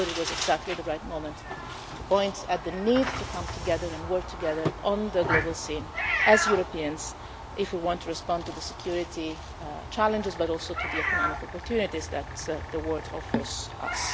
So I thought it was exactly the right moment to point to the need to come together and work together on the global scene, as Europeans, if we want to respond to the security challenges, but also to the economic opportunities that the world offers us.